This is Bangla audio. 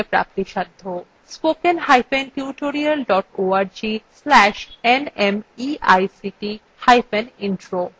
spoken hyphen tutorial dot org slash nmeict hyphen intro